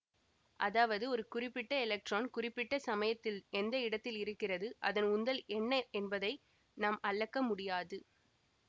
அதாவது ஒரு குறிப்பிட்ட எலக்ட்ரான் குறிப்பிட்ட சமயத்தில் எந்த இடத்தில் இருகிறது அதன் உந்தல் என்ன என்பதை நாம் அளக்க முடியாது